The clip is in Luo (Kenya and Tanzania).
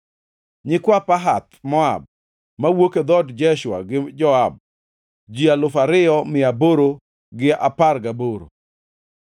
nyikwa Pahath-Moab (mowuok e dhood Jeshua gi Joab), ji alufu ariyo mia aboro gi apar gaboro (2,818),